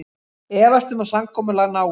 Efast um að samkomulag náist